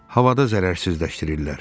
Havada zərərsizləşdirirdilər.